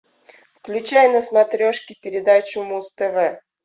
включай на смотрешке передачу муз тв